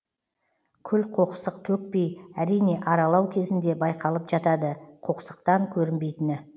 күл қоқсық төкпей әрине аралау кезінде байқалып жатады қоқсықтан көрінбейтіні